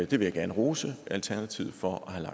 vil jeg gerne rose alternativet for at have